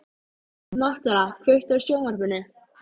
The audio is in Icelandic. Náttúra, kveiktu á sjónvarpinu.